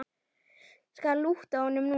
Skal lúta honum núna.